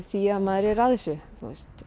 því að maður er að þessu